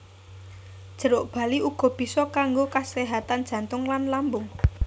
Jeruk bali uga bisa kanggo kaséhatan jantung lan lambung